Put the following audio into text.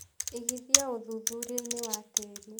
Igithia ũthuthuriainĩ wa tĩri.